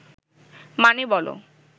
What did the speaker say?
মানে, বলো